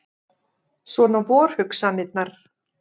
Svona vor hugsanirnar.